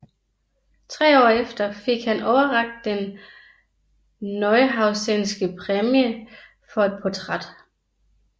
Tre år efter fik han overrakt den Neuhausenske Præmie for et portræt